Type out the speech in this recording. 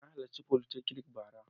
Na halarci folytechnic bara.